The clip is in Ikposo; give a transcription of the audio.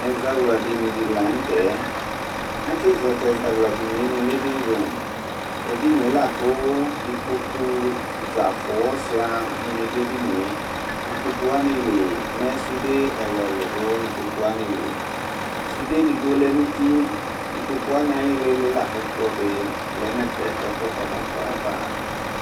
Ɛzawla dinyi la nu tɛ ati zɔ tu ɛzawla dinyi nu livingroom tu edinye laku ikpoku shua dini du edinye ikpokuwanili sufde edigbo di lɛ nu uti ikpoku wa ayili la ku ɛkplɔ di lɛ nu ɛfɛ he kukɔdu nɛkplɔ ava